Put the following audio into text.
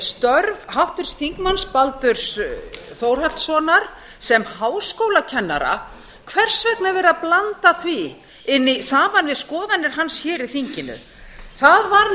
störf háttvirtur þingmaður baldurs þórhallssonar sem háskólakennara hvers vegna er verið að blanda því saman við skoðanir hans í þinginu það var nefnilega það